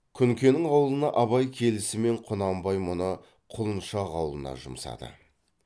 күнкенің аулына абай келісімен құнанбай мұны құлыншақ аулына жұмсады